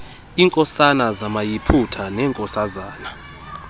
iinkosana zamayiputa neenkosazana